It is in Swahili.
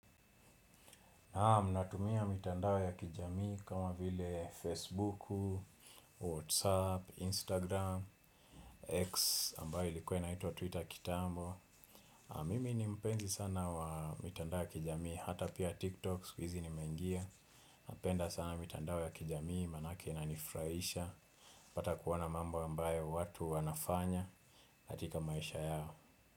Naam ninatumia mitandao ya kijamii kama vile Facebook, Whatsapp, Instagram, X ambayo ilikua inaitwa Twitter kitambo. Mimi ni mpenzi sana wa mitandao ya kijamii hata pia TikTok sikuhizi nimeingia. Napenda sana mitandao ya kijamii maana yake inanifuraisha. Pata kuona mambo ambayo watu wanafanya hatika maisha yao.